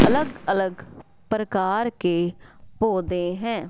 अलग अलग प्रकार के पोधै है।